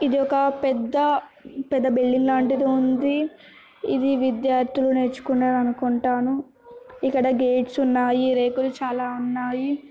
ఇది ఒక పెద్ద పెద్ద బిల్డింగ్ లాంటిది ఉంది. ఇది విద్యార్థులు నేర్చుకునేది అనుకుంటాను ఇక్కడ గేట్స్ ఉన్నాయి రేకులు చాలా ఉన్నాయి.